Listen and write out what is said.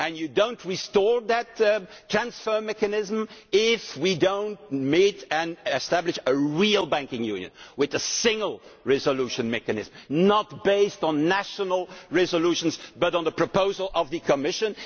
economy. You will not restore that transfer mechanism if we do not establish a real Banking Union with a single resolution mechanism based not on national resolutions but on the proposal from the Commission.